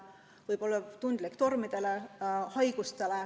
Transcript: See võib tormides murduda ja olla vastuvõtlik haigustele.